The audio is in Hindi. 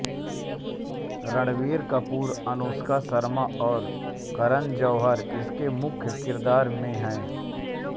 रणबीर कपूर अनुष्का शर्मा और करन जौहर इसमें मुख्य किरदार में है